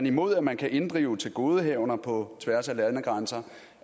imod at man kan inddrive tilgodehavender på tværs af landegrænser